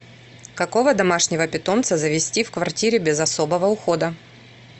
какого домашнего питомца завести в квартире без особого ухода